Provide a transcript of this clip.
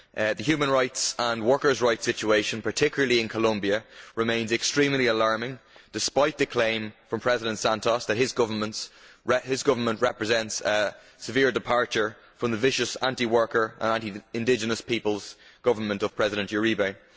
The human rights and workers' rights situation, particularly in Colombia, remains extremely alarming despite the claim from President Santos that his government represents a major departure from the vicious anti worker and anti indigenous peoples government of President Uribe.